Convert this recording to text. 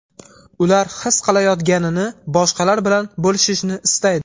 Ular his qilayotganini boshqalar bilan bo‘lishishni istaydi.